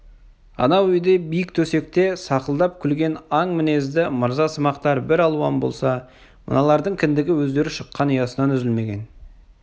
анау үйде биік төсекте сақылдап күлген аң мінезді мырза-сымақтар бір алуан болса мыналардың кіндігі өздері шыққан ұясынан үзілмеген